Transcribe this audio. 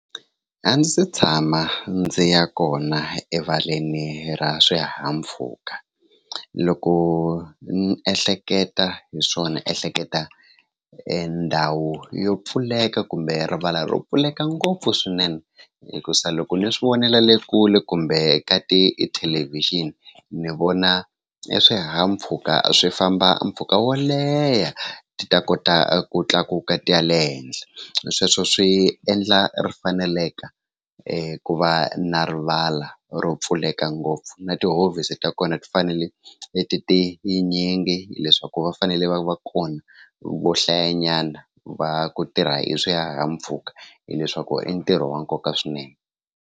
A ndzi se tshama ndzi ya kona erivaleni ra swihahampfhuka loko ni ehleketa hi swona ni ehleketa ndhawu yo pfuleka kumbe rivala ro pfuleka ngopfu swinene hikusa loko ni swi vonela le kule kumbe ka tithelevixini ni vona i swihahampfhuka swi famba mpfhuka wo leha ti ta kota ku tlakuka ti ya le henhla sweswo swi endla ri faneleke ku va na rivala ro pfuleka ngopfu na tihofisi ta kona ti fanele ti tinyingi leswaku va fanele va va kona vo hlayanyana va ku tirha hi swihahampfhuka hileswaku i ntirho wa nkoka swinene.